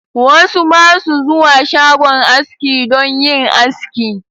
Wasu basu zuwa shagon aski don yin aski.